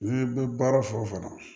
N'i bɛ baara fɛn o fɛn na